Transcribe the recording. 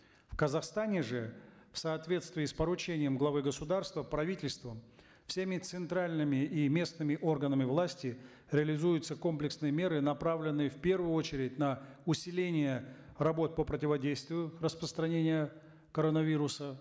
в казахстане же в соответствии с поручением главы государства правительством всеми центральными и местными органами власти реализуются комплексные меры направленные в первую очередь на усиление работ по противодействию распространения коронавируса